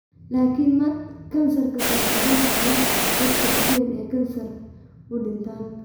Laakiin maanta, kansarka sanbabada ayaa ah sababta ugu badan ee kansarka u dhintaan.